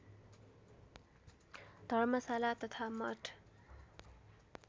धर्मशाला तथा मठ